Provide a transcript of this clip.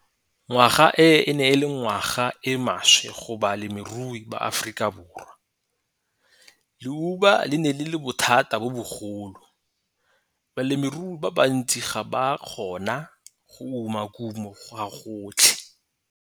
Ngwaga e e ne e le ngwaga e e maswe go balemirui ba Afrikaborwa. Leuba le ne le le bothata bo bogolo. Balemirui ba bantsi ga ba a kgona go uma kumo gagotlhe.